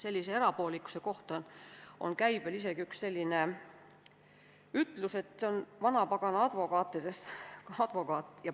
Sellise erapoolikuse kohta on käibel isegi üks selline ütlus, et see on vanapagana advokaat.